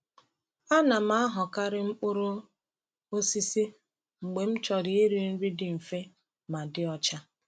A na m ahọkarị mkpụrụ osisi mgbe m chọrọ iri nri dị mfe ma dị ọcha.